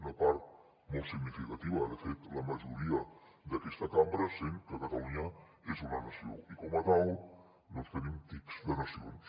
una part molt significativa de fet la majoria d’aquesta cambra sent que catalunya és una nació i com a tal tenim tics de nacions